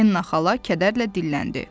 Enna xala kədərlə dilləndi.